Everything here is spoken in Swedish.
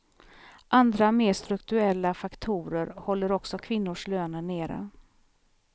Andra, mer strukturella, faktorer håller också kvinnors löner nere.